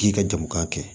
K'i ka jamu k'a kɛ